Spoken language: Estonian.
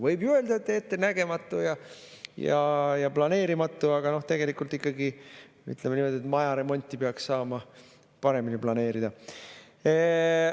Võib ju öelda, et ettenägematu ja planeerimatu, aga tegelikult ikkagi, ütleme niimoodi, maja remonti peaks saama paremini planeerida.